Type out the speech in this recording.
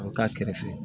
A bɛ k'a kɛrɛfɛ